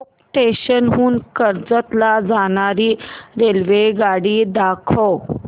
चौक station हून कर्जत ला जाणारी रेल्वेगाडी दाखव